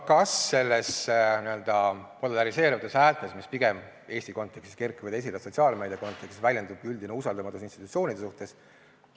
Kas nendes n-ö polariseerumise häältes, mis pigem Eesti kontekstis kerkivad esile sotsiaalmeedia kontekstis, väljendub üldine usaldamatus institutsioonide suhtes?